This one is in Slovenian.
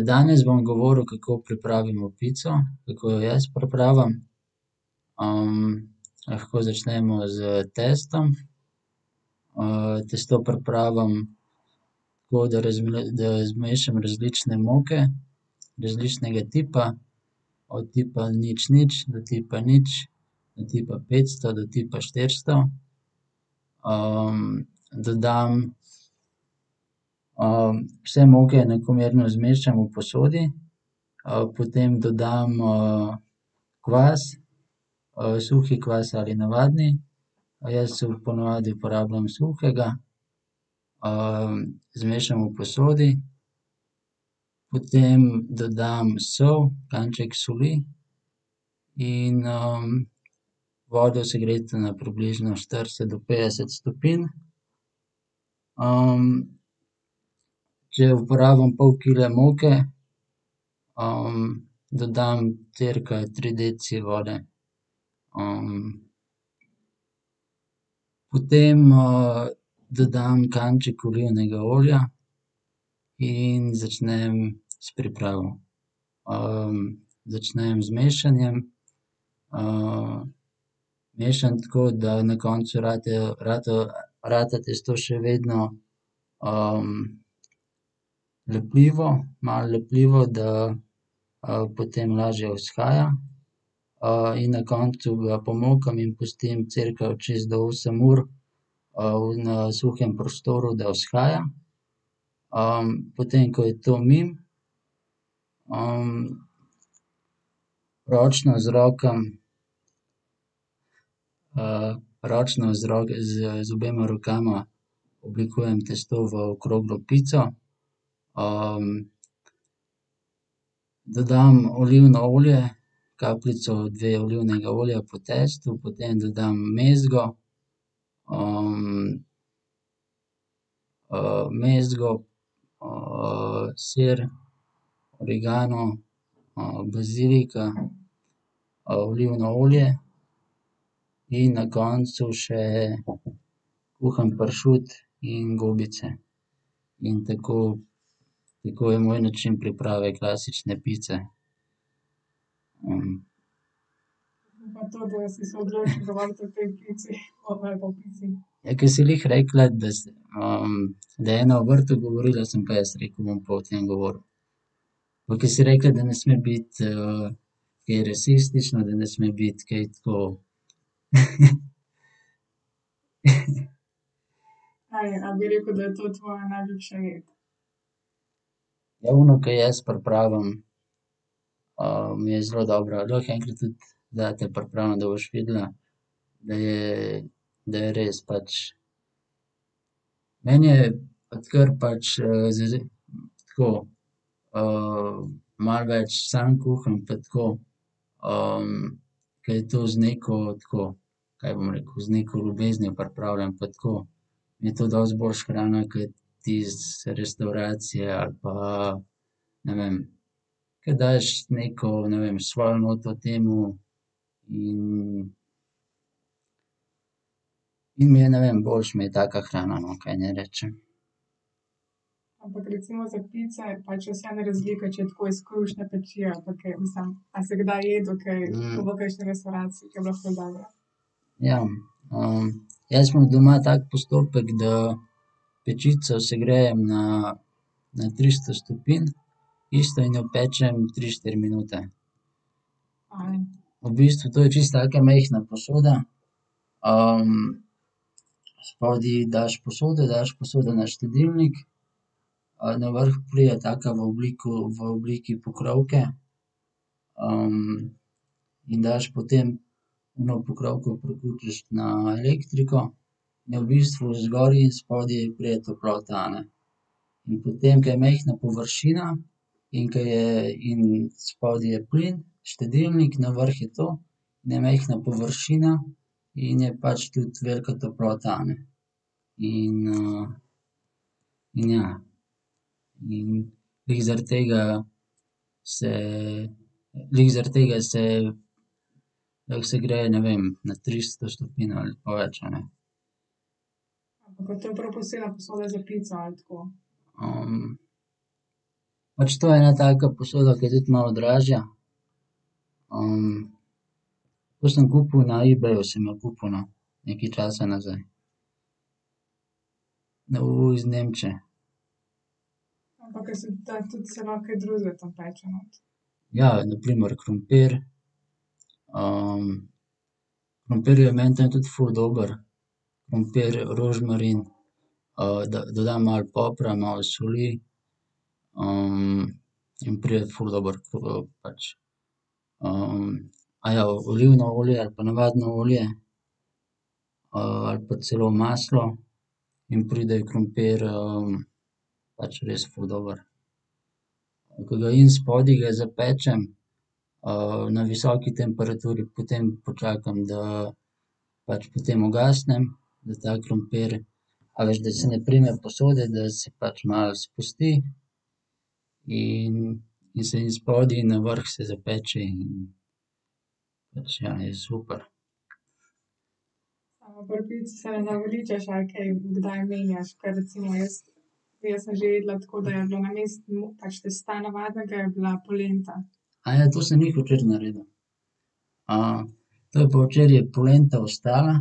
danes bom govoril, kako pripravimo pico, kako jo jaz pripravim. lahko začnemo s testom. testo pripravim tako, da da zmešam različne moke različnega tipa. Od tipa nič, nič do tipa nič do tipa petsto do tipa štiristo. dodam, vse moke enakomerno zmešam v posodi. potem dodam, kvas, suhi kvas ali navadni, jaz po navadi uporabljam suhega. zmešam v posodi. Potem dodam sol, kanček soli, in, vodo, segreto na približno štirideset do petdeset stopinj. če uporabim pol kile moke, dodam cirka tri deci vode. Potem, dodam kanček olivnega olja in začnem s pripravo. začnem z mešanjem, mešam tako, da na koncu ratajo, ratajo, rata tisto še vedno, lepljivo, malo lepljivo, da, potem lažje vzhaja. in na koncu ga pomokam in pustim cirka od šest do osem ur, v, na suhem prostoru, da vzhaja. potem ko je to mimo, ročno z rokami, ročno z z z obema rokama oblikujem testo v okroglo pico. Dodam olivno olje, kapljico, dve, olivnega olja po tisto, potem dodam mezgo, mezgo, sir, origano, bazilika, olivno olje in na koncu še kuhan pršut in gobice. In tako, tako je moj način priprave klasične pice. Ja, ke si glih rekla, da, da je ena o vrtu govorila, sem pa jaz rekel, da bom pa o tem govoril. Pa ke si rekla, da ne sme biti, kaj rasistično, da ne sme biti kaj tako ... Ja, ono, ke jaz pripravim, je zelo dobra. Lahko enkrat tudi zate pripravim, da boš videla, da je, da je res pač. Meni je, odkar pač, že tako, malo več sam kuham pa tako, ke je to z neko, tako, kaj bom rekel, z neko ljubeznijo pripravljeno, pa tako mi je to dosti boljše hrana kot tisto iz restavracije ali pa, ne vem. Ke daš neko, ne vem, svojo noto temu in in mi je, ne vem, boljše mi je taka hrana, no, kaj naj rečem. Ja. jaz imam doma tak postopek, da pečico segrejem na, na tristo stopinj isto in jo pečem tri, štiri minute. V bistvu to je čisto taka majhna posoda, spodaj daš posode, daš posodo na štedilnik, na vrh pride daka v v obliki pokrovke, in daš potem ono pokrovko priključiš na elektriko in v bistvu zgoraj in spodaj pride toplota, a ne. In potem, ke je majhna površina, in ke je, in spodaj je plin, štedilnik, na vrh je to, je majhna površina in je pač tudi velika toplota, a ne. In, in ja. In glih zaradi tega se, glih zaradi tega se lahko segreje, ne vem, na tristo stopinj ali pa več, a ne. pač to je ena taka posoda, ke je tudi malo dražja. to sem kupil, na eBayu sem jo kupil, no. Nekaj časa nazaj. iz Nemčije. Ja. Na primer krompir, krompir je meni tam tudi ful dober. Krompir, rožmarin, dodam malo popra, malo soli, in pride ful dobro pač, olivno olje ali pa navadno olje, ali pa celo maslo, in pride krompir, pač res ful dober. Tako da in spodaj ga zapečem, na visoki temperaturi, potem počakam, da, pač potem ugasnem, da ta krompir, a veš, da se ne prime posode, da se pač malo spusti. In in se in spodaj in na vrh se zapeče in pač ja, je super. to sem glih včeraj naredil. to je pa včeraj polenta ostala,